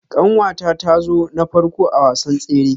Kanwata ta zo na farko a wasan tsere.